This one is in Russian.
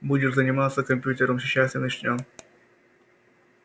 будешь заниматься компьютером сейчас и начнём